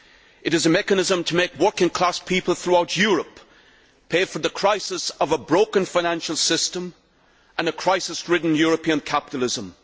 It is a mechanism to make working class people throughout Europe pay for the crisis of a broken financial system and a crisis ridden European capitalism.